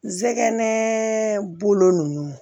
Jɛgɛ nɛnɛ bolo nunnu